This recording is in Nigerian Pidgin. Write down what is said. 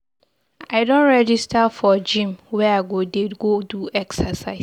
I don register for gym where I go dey go do exercise.